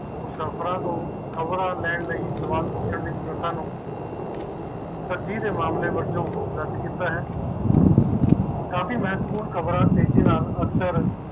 ਕਾਫੀ ਮਹੱਤਵਪੂਰਨ ਖ਼ਬਰ ਤੇਜ਼ੀ ਨਾਲ